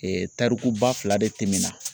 tariku ba fila de tɛmɛna